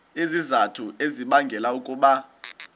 izizathu ezibangela ukuba